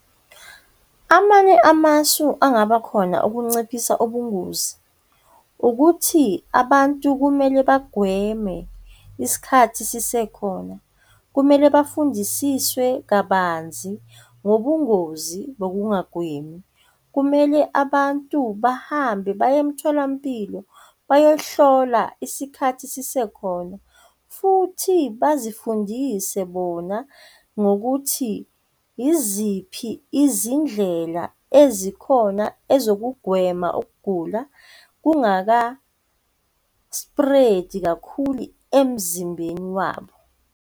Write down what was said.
Amanye amasu angaba khona ukunciphisa ubungozi ukuthi abantu kumele bagweme isikhathi sisekhona, kumele bafundisiswe kabanzi ngobungozi bokungagwemi, kumele abantu bahambe baye emtholampilo bayohlolwa isikhathi sisekhona. Futhi bazifundise bona ngokuthi yiziphi izindlela ezikhona and ezokugwema ukugula kungaka-spread-i kakhulu emzimbeni wabo.